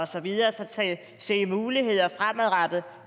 så videre så ser muligheder fremadrettet